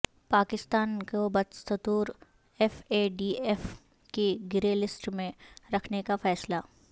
پاکستان کو بدستور F A T F کی گرے لسٹ میں رکھنے کا فیصلہ